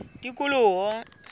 tikoloho